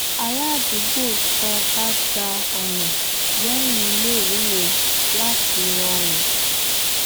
aládùúgbò sọ ká gba ònà léyìn iléèwé yẹn láti rọrùn